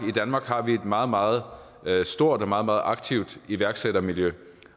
har vi et meget meget stort og meget meget aktivt iværksættermiljø